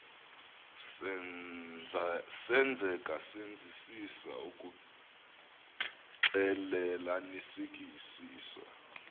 senzeka senzisisa ukuxclelanisekisisa